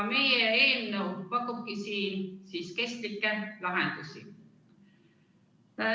" Meie eelnõu pakubki siin kestlikke lahendusi.